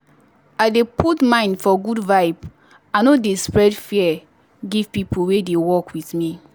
i dey put mind for good vibe i no dey spread fear give people wey dey work with me.